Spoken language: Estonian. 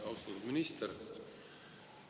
Austatud minister!